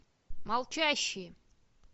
молчащие